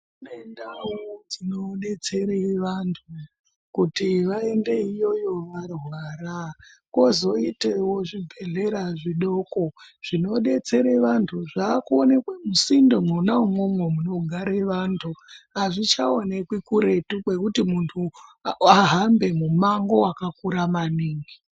Kune ndau dzinodetsere vantu kuti vaendeyo iyoyo varwara. Kozoitewo zvibhedhlera zvidoko zvinodetsere vantu. Zvakuonekwe musinde mwona imwomwo munogare vantu. Hazvichaonekwi kuretu kwekuti muntu wahambe mumango wakakura maningi.